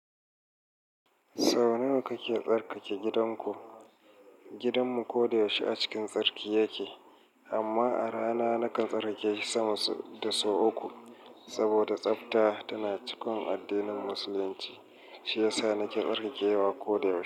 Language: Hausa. Sau nawa kake tsarkake gidanku? Gidanmu koda yaushe a cikin tsarki yake, amma a rana nakan tsarkake shi sama da sau uku. Saboda tsafta tana cikin addinin Musulunci, shi yasa nake tsarkake wa koyaushe.